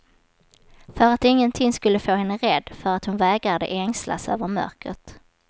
För att ingenting skulle få henne rädd, för att hon vägrade ängslas över mörkret.